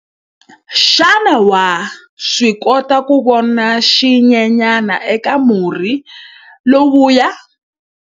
Xana wa swi kota ku vona xinyenyana eka murhi lowuya?